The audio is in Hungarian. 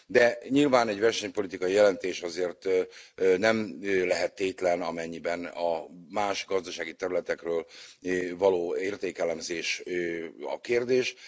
De nyilván egy versenypolitikai jelentés azért nem lehet tétlen, amennyiben a más gazdasági területekről való értékelemzés a kérdés.